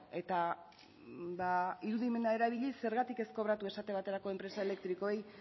eta irudimena erabiliz zergatik ez kobratu esate baterako enpresa elektrikoei